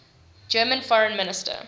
german foreign minister